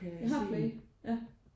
Jeg har Play ja